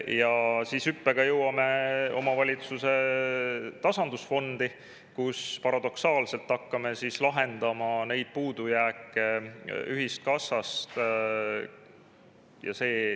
Ja hüppega jõuame omavalitsuse tasandusfondi, kus me paradoksaalselt hakkame neid puudujääke lahendama ühiskassa toel.